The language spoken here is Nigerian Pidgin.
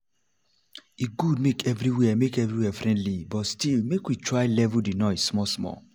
e good make everywhere make everywhere friendly but still make we try level de noise small-small